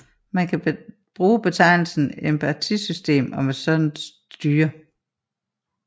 Man kan bruge betegnelsen étpartisystem om et sådant styre